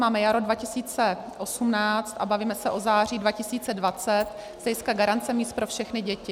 Máme jaro 2018 a bavíme se o září 2020 z hlediska garance míst pro všechny děti.